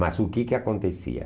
Mas o que que acontecia?